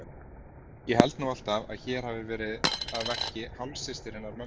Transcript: Ég held nú alltaf að hér hafi verið að verki hálfsystir hennar mömmu.